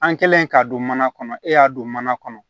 An kɛlen k'a don mana kɔnɔ e y'a don mana kɔnɔ